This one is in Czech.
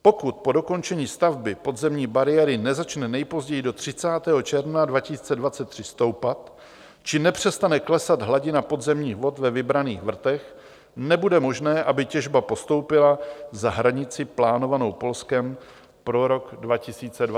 Pokud po dokončení stavby podzemní bariéry nezačne nejpozději do 30. června 2023 stoupat či nepřestane klesat hladina podzemních vod ve vybraných vrtech, nebude možné, aby těžba postoupila za hranici plánovanou Polskem pro rok 2023, uvedlo ministerstvo.